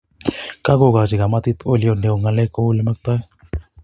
Kagogochi kamatit ogiliot neo ngalek kou ole maktoi